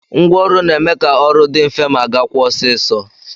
Ngwa ọrụ na-eme ka ọrụ dị mfe ma gakwaa ọsịịsọ